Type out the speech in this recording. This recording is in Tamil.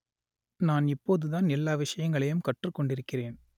நான் இப்போது தான் எல்லா விஷயங்களையும் கற்றுக் கொண்டிருக்கிறேன்